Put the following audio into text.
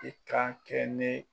I kan kɛ ne